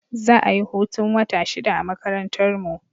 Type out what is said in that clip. Za a yi hutun wata shida a makarantarmu.